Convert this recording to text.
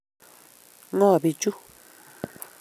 ng'o bichu?